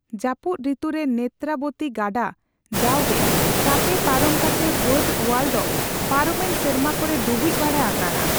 ᱡᱟᱹᱯᱩᱫ ᱨᱤᱛᱩ ᱨᱮ ᱱᱮᱛᱨᱟ ᱵᱚᱛᱤ ᱜᱟᱰᱟ ᱡᱟᱣᱜᱮ ᱪᱟᱯᱮ ᱯᱟᱨᱚᱢ ᱠᱟᱛᱮ ᱵᱟᱸᱴᱼᱳᱣᱟᱞ ᱫᱚ ᱯᱟᱨᱚᱢᱮᱱ ᱥᱮᱨᱢᱟ ᱠᱚᱨᱮ ᱰᱩᱵᱩᱡ ᱵᱟᱲᱟ ᱟᱠᱟᱱᱟ ᱾